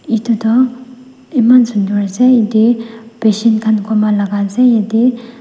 etu toh eman sunder ase ete patient khan coma laga ase ete--